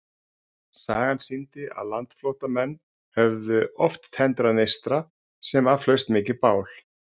Sagan sýndi, að landflótta menn höfðu oft tendrað neista, sem af hlaust mikið bál.